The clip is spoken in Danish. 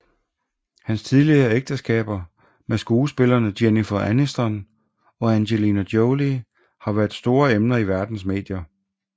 Hans tidligere ægteskaber med skuespillerne Jennifer Aniston og Angelina Jolie har været store emner i verdens medier